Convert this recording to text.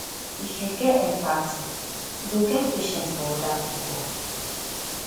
if you get empathy you go get patience for oda pipo